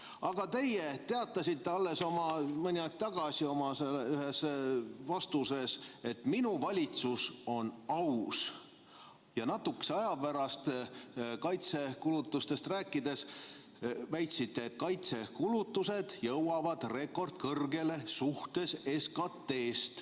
Aga te teatasite alles mõni aeg tagasi ühes oma vastuses, et teie valitsus on aus, ja natukese aja pärast kaitsekulutustest rääkides väitsite, et kaitsekulutused jõuavad SKT suhtes rekordkõrgele.